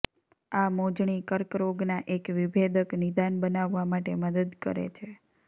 આ મોજણી કર્કરોગના એક વિભેદક નિદાન બનાવવા માટે મદદ કરે છે